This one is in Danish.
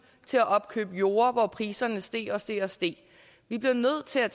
til at opkøbe jorder hvor priserne steg og steg og steg vi bliver nødt til at